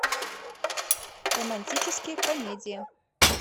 романтические комедии